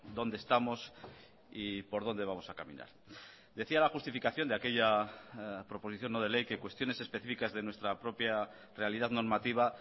dónde estamos y por dónde vamos a caminar decía la justificación de aquella proposición no de ley que cuestiones específicas de nuestra propia realidad normativa